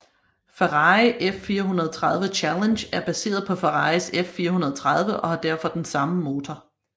Ferrari F430 Challenge er baseret på Ferraris F430 og har derfor den samme motor